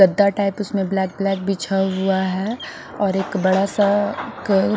गद्दा टाइप उसमें black black बिछा हुआ है और एक बड़ा सा एक--